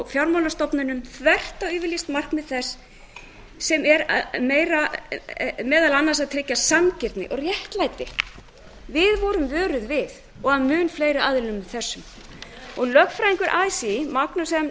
fjármálastofnunum þvert á yfirlýst markmið þess sem er meðal annars að tryggja sanngirni og réttlæti við vorum vöruð við og af mun fleiri aðilum en þessum lögfræðingur así magnús m